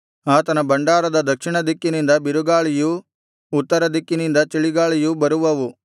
ಆತನ ಭಂಡಾರದ ದಕ್ಷಿಣದಿಕ್ಕಿನಿಂದ ಬಿರುಗಾಳಿಯೂ ಉತ್ತರದಿಕ್ಕಿನಿಂದ ಚಳಿಗಾಳಿಯೂ ಬರುವವು